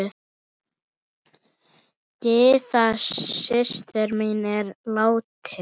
Gyða systir mín er látin.